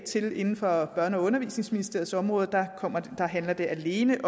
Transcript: til inden for børne og undervisningsministeriets område der handler det alene